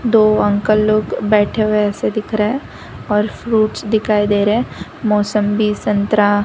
दो अंकल लोग बैठे हुए ऐसे दिख रहा और फ्रूट्स दिखाई दे रहा मौसंबी संतरा --